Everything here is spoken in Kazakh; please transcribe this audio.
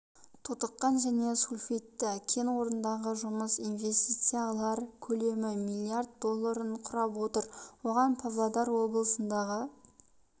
тотыққан және сульфидті кен орнындағы жұмыс инвестициялар көлемі миллиард долларын құрап отыр оған павлодар облысындағы